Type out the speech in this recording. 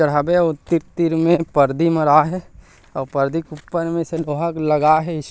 चढ़ाबे अउ तीर-तीर में पर्दी मरा हे अउ पर्दी के ऊपर में से लोहा लगा हे इस--